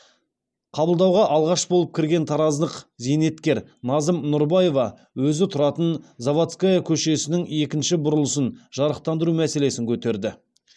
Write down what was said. қабылдауға алғаш болып кірген тараздық зейнеткер назым нұрбаева өзі тұратын заводская көшесінің екінші бұрылысын жарықтандыру мәселесін көтерді